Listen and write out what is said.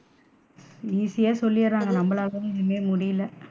Easy யா சொல்லிருறாங்க நம்மளால தான் எதுமே முடியல.